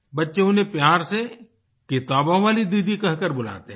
बच्चे उन्हें प्यार से किताबों वाली दीदी कह कर बुलाते हैं